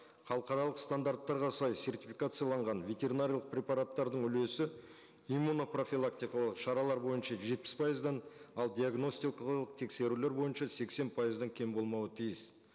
халықаралық стандарттарға сай сертификацияланған ветеринариялық препараттардың үлесі иммуно профилактикалық шаралар бойынша жетпіс пайыздан ал диагностикалық тексерулер бойынша сексен пайыздан кем болмауы тиіс